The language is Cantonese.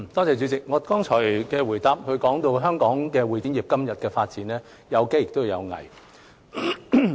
主席，我剛才的答覆談到香港會展業今天的發展，有機亦有危。